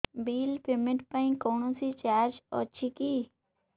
bill payment ପାଇଁ କୌଣସି charge ଅଛି କି